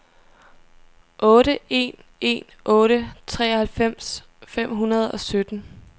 otte en en otte treoghalvfems fem hundrede og sytten